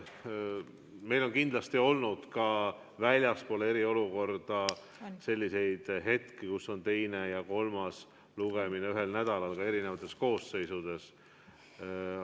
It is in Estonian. Meil on kindlasti ka väljaspool eriolukorda tulnud ette seda, et teine ja kolmas lugemine on olnud ühel nädalal, ka eri koosseisude ajal.